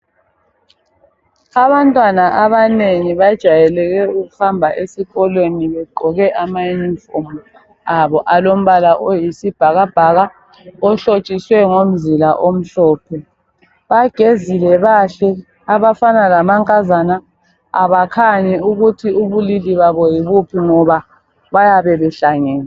Abantwana abanengi bajayele ukuhamba esikolweni begqoke amayunifomu abo alombala oyisibhakabhaka ohlotshiswe ngomzila omhlophe. Bagezile bahle abafana lamankazana abakhanyi ukuthi ubulili babo yibuphi ngoba bayabe behlangene.